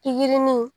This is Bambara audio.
Pikirini